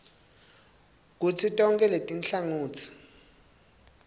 kutsi tonkhe letinhlangotsi